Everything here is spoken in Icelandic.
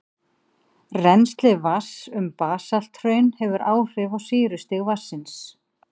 Rennsli vatns um basalthraun hefur áhrif á sýrustig vatnsins.